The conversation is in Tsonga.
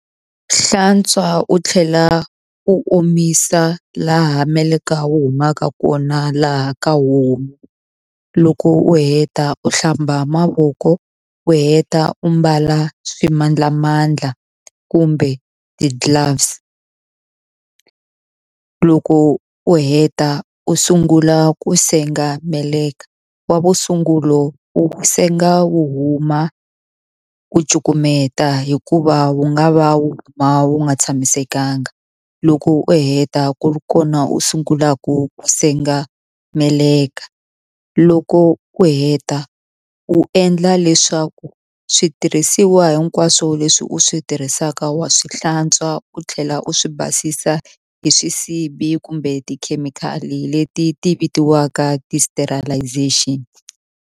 Hlantswa u tlhela u omisa laha meleka wu humaka kona laha ka homu loko u heta u hlamba mavoko u heta u mbala swimandlamandla kumbe ti-gloves loko u heta u sungula ku senga meleka wa vusungulo u senga wu huma ku cukumeta hikuva wu nga va wu huma wu nga tshamisekanga loko u heta ku ri kona u sungula ku senga meleka loko u heta u endla leswaku switirhisiwa hikwaswo leswi u swi tirhisaka wa swi hlantswa u tlhela u swi basisa hi swisibi kumbe tikhemikhali leti ti vitiwaka .